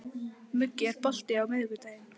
Muggi, er bolti á miðvikudaginn?